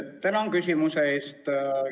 Tänan küsimuse eest!